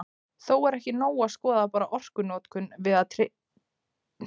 Þó er ekki nóg að skoða bara orkunotkun við að tyggja tyggigúmmí.